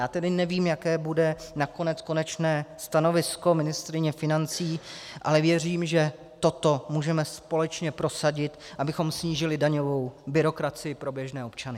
Já tedy nevím, jaké bude nakonec konečné stanovisko ministryně financí, ale věřím, že toto můžeme společně prosadit, abychom snížili daňovou byrokracii pro běžné občany.